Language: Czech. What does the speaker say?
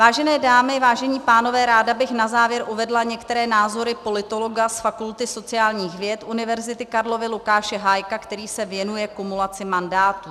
Vážené dámy, vážení pánové, ráda bych na závěr uvedla některé názory politologa z Fakulty sociálních věd Univerzity Karlovy Lukáše Hájka, který se věnuje kumulaci mandátů.